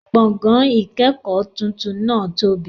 Gbọ̀gán-ìkẹ́kọ titun náà tóbi